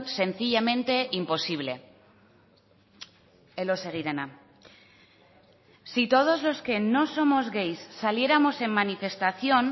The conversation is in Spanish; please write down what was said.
sencillamente imposible elóseguirena si todos los que no somos gays saliéramos en manifestación